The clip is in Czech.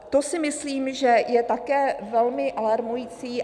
To si myslím, že je také velmi alarmující.